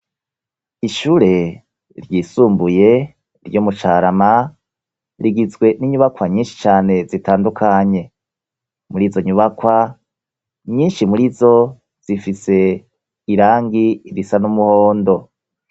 Ishure ryisumbuye ryo mu Carama, rigizwe n'inyubakwa nyinshi cane zitandukanye. Muri zo nyubakwa nyinshi muri zo zifise irangi risa n'umuhondo.